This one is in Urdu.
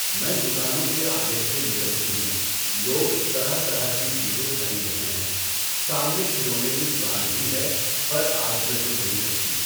میں دکانوں کے آگے سے نکلتی ہوں۔ لوگ طرح طرح کی چیزیں خرید رہے ہیں۔ سامنے کھلونے کی دکان بھی ہے پر آج میں رُک نہیں سکتی۔